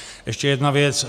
Ještě jedna věc.